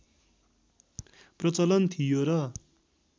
प्रचलन थियो र